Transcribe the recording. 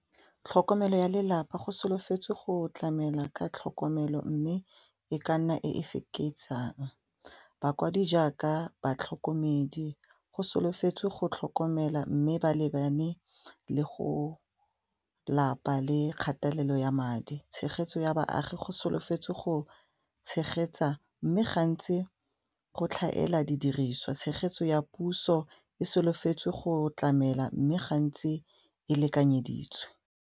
Tlhokomelo ya lelapa go solofetse go tlamela ka tlhokomelo mme e ka nna e e feketsang bakwadi jaaka batlhokomedi go solofetse go tlhokomela mme ba lebane le go lapa le kgatelelo ya madi, tshegetso ya baagi go solofetse go tshegetsa mme gantsi go tlhaela di diriswa, tshegetso ya puso e solofetse go tlamela mme gantsi e lekanyeditswe.